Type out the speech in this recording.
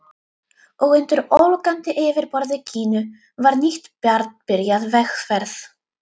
Og undir ólgandi yfirborði Gínu var nýtt barn byrjað vegferð.